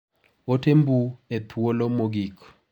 Ote mbui e thuolo mogik.